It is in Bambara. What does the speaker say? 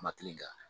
Ma kelen kan